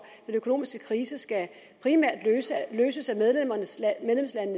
den økonomiske krise skal primært løses af medlemslandene